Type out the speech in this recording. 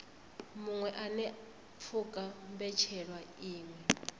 muṅwe anea pfuka mbetshelwa iṅwe